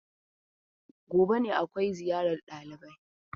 Gobe ne akwai ziyarar ɗalibai.